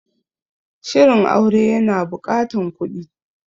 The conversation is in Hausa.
Shirin aure ya na buƙatan kuɗi